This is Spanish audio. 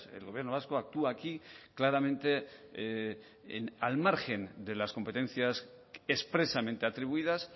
el gobierno vasco actúa aquí claramente al margen de las competencias expresamente atribuidas